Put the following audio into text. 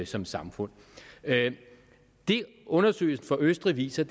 som samfund det undersøgelsen fra østrig viser